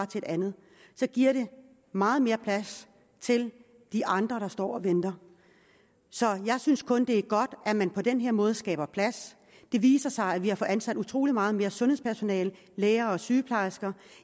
til et andet så giver det meget mere plads til de andre der står og venter så jeg synes kun det er godt at man på den måde skaber plads det viser sig at vi har fået ansat utrolig meget mere sundhedspersonale læger og sygeplejersker